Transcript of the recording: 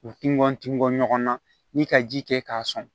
U tingɔn tin bɔ ɲɔgɔn na ni ka ji kɛ k'a sɔn